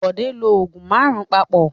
Bọ̀dé ń lo òògùn márùn-ún papọ̀.